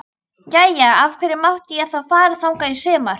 Jæja, af hverju mátti ég þá fara þangað í sumar?